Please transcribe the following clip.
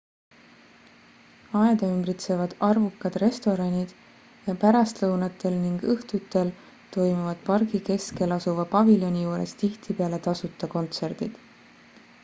aeda ümbritsevad arvukad restoranid ja pärastlõunatel ning õhtudel toimuvad pargi keskel asuva paviljoni juures tihtipeale tasuta kontsertid